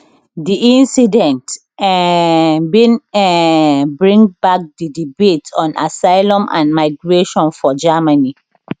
di incident um bin um bring back di debate on asylum and migration for germany